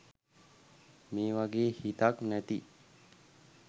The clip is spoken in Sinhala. මේ වගේ හිතක් නැති